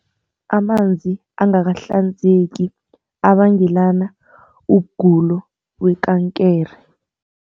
Amanzi angakahlanzeki abangela ukugula kwekankere.